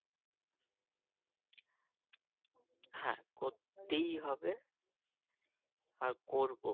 করতেই হবে আর করব